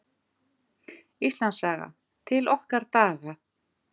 Íslandssaga: til okkar daga.